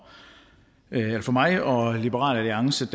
hverdag for mig og liberal alliance